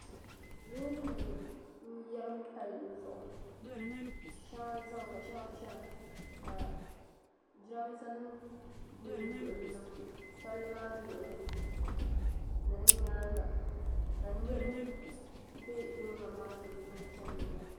loorinima n-yɛrim palli zuɣu shɛŋa zami ka shɛŋa chana ka jirambiisanima be Palli maa luɣili ni di nyaaŋa ka niriba be loorinima sunsuuni chani n-ginda